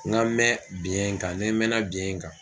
N ka mɛn biyɛn in kan ne n mɛnna biyɛn in kan